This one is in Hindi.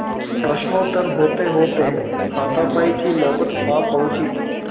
प्रश्नोत्तर होतेहोते हाथापाई की नौबत आ पहुँची